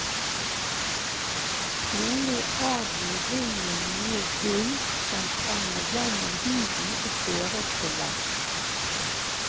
Trolig avgir ringen noe gull som trenger igjennom huden og føres til leddet.